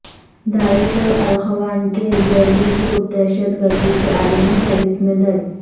داعش اور الاخوان کے ذیلی گروپ دہشت گردی کی عالمی فہرست میں درج